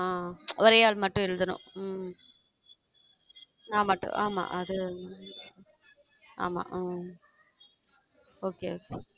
அஹ் ஒரே ஆள் மட்டும் எழுதணும் உம் நான் மட்டும் ஆமா ஆமா உம் okay okay